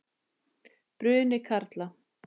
Bruni karla.